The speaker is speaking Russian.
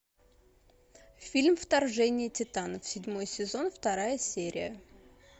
фильм вторжение титанов седьмой сезон вторая серия